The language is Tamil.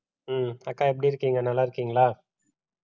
ஹம் அக்கா எப்படி இருக்கீங்க நல்லா இருக்கீங்களா